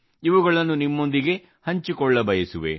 ಇವುಗಳನ್ನು ನಿಮ್ಮೊಂದಿಗೆ ಹಂಚಿಕೊಳ್ಳಬಯಸುವೆ